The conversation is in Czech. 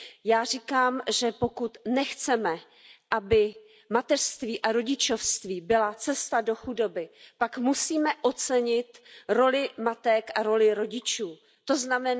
Já říkám, že pokud nechceme, aby mateřství a rodičovství byla cesta do chudoby, pak musíme ocenit roli matek a roli rodičů, tzn.